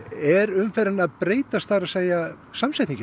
er umferðin að breytast það er samsetningin